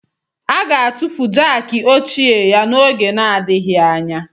A ga-atụfu Jákii ochie ya n'oge adịghị anya